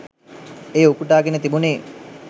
එය උපුටාගෙන තිබුණේ